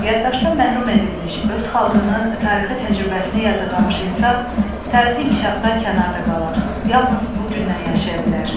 Yaddaşdan məhrum edilmiş, öz xalqının tarixi təcrübəsini yadırlığamış insan tarixi inkişafdan kənarda qalar, yalnız bu gündən yaşaya bilər.